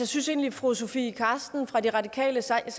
synes egentlig fru sofie carsten nielsen fra de radikale sagde